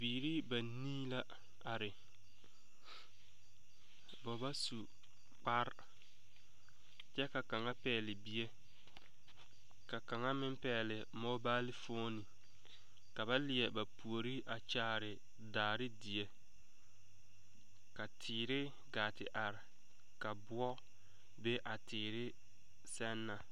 Biiri banii la are ba ba su kpare kyɛ ka kaŋa pɛgle bie ka kaŋa meŋ pɛgle mobaalifon ka na leɛ ba puori a kyaare daare die ka teere gaa te are ka boɔ be a teere sɛŋ na.